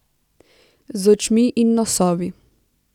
Z očmi in nosovi.